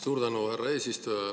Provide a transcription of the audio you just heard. Suur tänu, härra eesistuja!